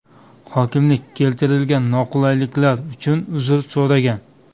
Hokimlik keltirilgan noqulayliklar uchun uzr so‘ragan.